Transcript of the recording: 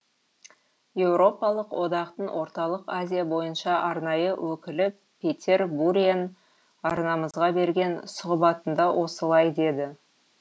еуропалық одақтың орталық азия бойынша арнайы өкілі петер буриан арнамызға берген сұхбатында осылай деді